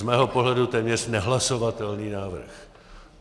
Z mého pohledu téměř nehlasovatelný návrh.